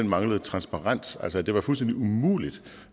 manglede transparens at det var fuldstændig umuligt